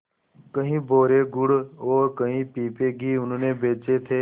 कई बोरे गुड़ और कई पीपे घी उन्होंने बेचे थे